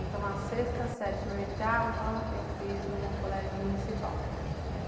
Então, a sexta, sete mil e oitava, eu fiz num colégio municipal.